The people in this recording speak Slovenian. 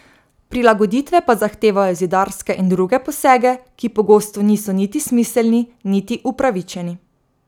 Prilagoditve pa zahtevajo zidarske in druge posege, ki pogosto niso niti smiselni niti upravičeni.